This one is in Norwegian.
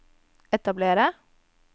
etablere